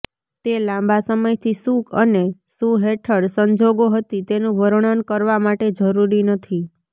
તે લાંબા સમયથી શું અને શું હેઠળ સંજોગો હતી તેનું વર્ણન કરવા માટે જરૂરી નથી